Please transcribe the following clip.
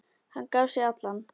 Hann gaf sig allan.